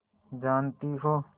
जानती हो